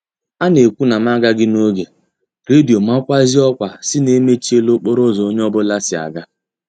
A na-ekwu na m a gaghị n'oge, redio makwazie ọkwa sị na emechiela okporo ụzọ onye ọ bụla si aga